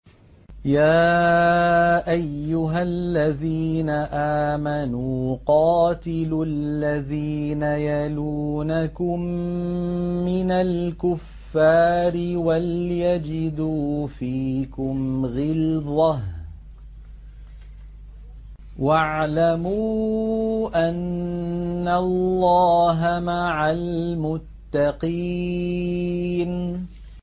يَا أَيُّهَا الَّذِينَ آمَنُوا قَاتِلُوا الَّذِينَ يَلُونَكُم مِّنَ الْكُفَّارِ وَلْيَجِدُوا فِيكُمْ غِلْظَةً ۚ وَاعْلَمُوا أَنَّ اللَّهَ مَعَ الْمُتَّقِينَ